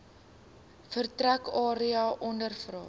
vertrek area ondervra